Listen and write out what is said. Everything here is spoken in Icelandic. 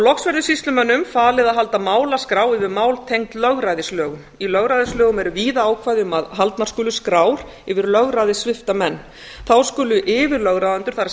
loks verður sýslumönnum falið að halda málaskrá yfir mál tengd lögræðislögum í lögræðislögum eru víða ákvæði um að haldnar skulu skrár yfir lögræðissvipta menn þá skuli yfirlögráðendur það